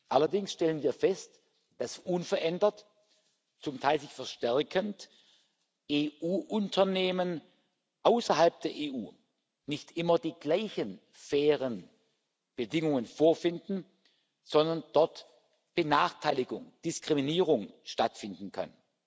Allerdings stellen wir fest, dass unverändert zum Teil sich verstärkend EU-Unternehmen außerhalb der EU nicht immer die gleichen fairen Bedingungen vorfinden, sondern dort Benachteiligung, Diskriminierung stattfinden kann.